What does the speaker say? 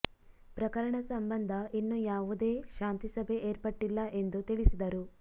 ಪ್ರಕರಣ ಸಂಬಂಧ ಇನ್ನೂ ಯಾವುದೇ ಶಾಂತಿ ಸಭೆ ಏರ್ಪಟ್ಟಿಲ್ಲ ಎಂದು ತಿಳಿಸಿದರು